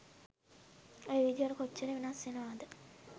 ඒ විදිහට කොච්චර වෙනස් වෙනවද?